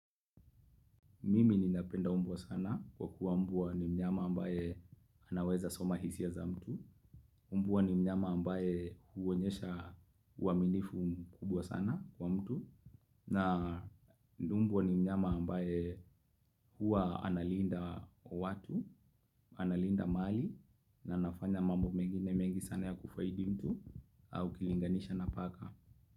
Mimi ninapenda mbwa sana kwa kuwa mbwa ni mnyama ambaye anaweza soma hisia za mtu. Mbwa ni mnyama ambaye huonyesha uaminifu mkubwa sana kwa mtu. Na mbwa ni mnyama ambaye huwa analinda watu, analinda mahali na anafanya mambo mengine mengi sana ya kufaidi mtu au ukilinganisha na paka.